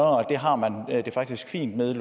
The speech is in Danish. og det har man det faktisk fint med